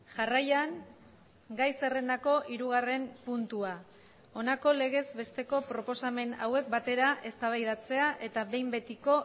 jarraian gai zerrendako hirugarren puntua honako legez besteko proposamen hauek batera eztabaidatzea eta behin betiko